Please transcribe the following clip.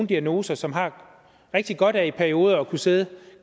diagnoser som har rigtig godt af i perioder at kunne sidde